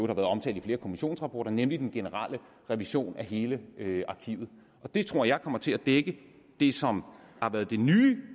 har været omtalt i flere kommissionsrapporter nemlig den generelle revision af hele arkivet det tror jeg kommer til at dække det som har været det nye